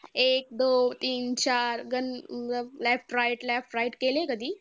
एक दोन तीन चार गणं left right left right केलंय कधी?